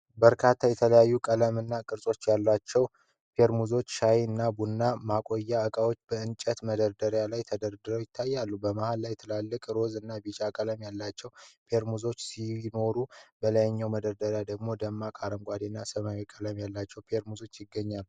በርካታ የተለያዩ ቀለሞችና ቅርጾች ያላቸው ቴርሞሶች (የሻይ/ቡና ማቆያ እቃዎች) በእንጨት መደርደሪያ ላይ ተደርድረው ይታያሉ። በመሃል ላይ ትላልቅ ሮዝ እና ቢጫ ቀለም ያላቸው ቴርሞሶች ሲኖሩ፣ በሌላኛው መደርደሪያ ደግሞ ደማቅ አረንጓዴ እና ሰማያዊ ቀለም ያላቸው ቴርሞሶች ይገኛሉ።